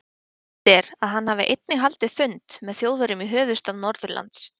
Sagt er, að hann hafi einnig haldið fund með Þjóðverjum í höfuðstað Norðurlands.